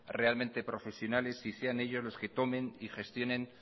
realmente profesionales y sean ellos los que tomen y gestionen